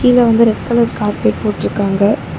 கீழ வந்து red colour carpet போட்ருக்காங்க.